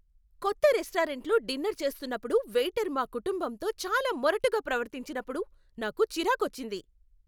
కొత్త రెస్టారెంట్లో డిన్నర్ చేస్తున్నప్పుడు వెయిటర్ మా కుటుంబంతో చాలా మొరటుగా ప్రవర్తించినప్పుడు నాకు చిరాకొచ్చింది.